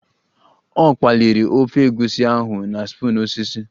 Ọ kpaliri ofe egusi ahụ na spoon osisi